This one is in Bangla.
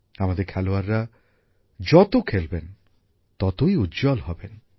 আমাদের খেলোয়াড়রা যত খেলবেন ততই উজ্জ্বল হবেন